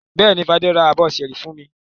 Bẹ́ẹ̀ni, Fadé ra abọ́ ṣẹ́ẹ́rì fún mi.